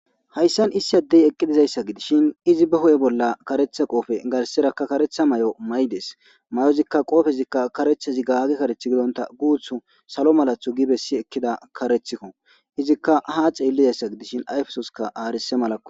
Hayssan issi addey eqqidizayssa gidishin izi ba ho7e bolla karetha qoofe garserakka karetha may7o maydes may7ozikka qoofezikka karethazi gaagi kareth gidonta guuthu salo malathu gi bessi ekkida karethikko izikka ha ceellizayssa gidishin ayfesoska aarise malakko